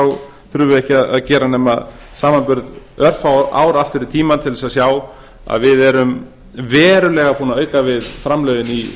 þá þurfum við ekki að gera nema samanburð örfá ár aftur í tímann til þess að sjá að við erum verulega búin að auka við framlögin